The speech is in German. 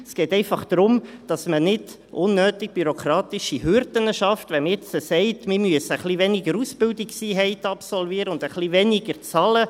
Es geht einfach darum, dass man nicht unnötig bürokratische Hürden schafft, wenn man jetzt sagt, man müsse etwas weniger Ausbildungseinheiten absolvieren und etwas weniger bezahlen.